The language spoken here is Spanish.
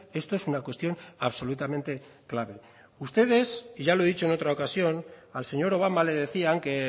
esto es una cuestión absolutamente clave ustedes y ya lo he dicho en otra ocasión al señor obama le decían que